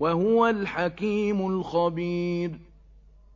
وَهُوَ الْحَكِيمُ الْخَبِيرُ